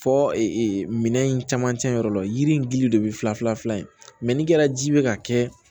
Fɔ minɛn in caman cɛnyɔrɔ la yiri in gili de bɛ fila fila fila in mɛ n'i kɛra ji bɛ ka kɛ